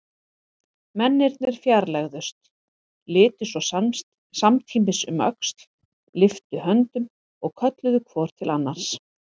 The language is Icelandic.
Mennirnir fjarlægðust, litu svo samtímis um öxl, lyftu höndum og kölluðu hvor til annars